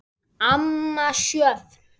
Amma Sjöfn.